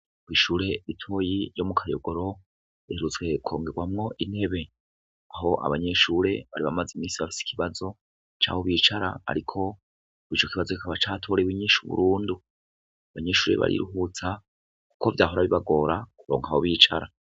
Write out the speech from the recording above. Ishure ritoyi ryo mu kayogoro riherutse kongegwamw' intebe, ah' abanyeshure bari bamaz' iminsi bafis' ikibazo caho bicara, arik' ico kibazo kikaba catorew' inyishu burundu. Abanyeshure bariruhutsa kuko vyahora bibagora bakabura aho bicara.